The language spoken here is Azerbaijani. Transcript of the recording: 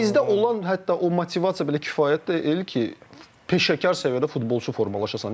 Yəni bizdə olan hətta o motivasiya belə kifayət deyil ki, peşəkar səviyyədə futbolçu formalaşasan.